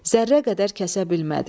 Zərrə qədər kəsə bilmədi.